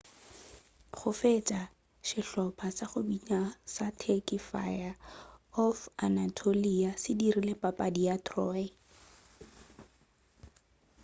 go fetša sehlopa sa go bina sa turky fire of anatolia se dirile papadi ya troy